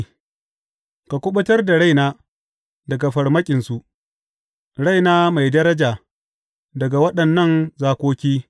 Ka kuɓutar da raina daga farmakinsu, raina mai daraja daga waɗannan zakoki.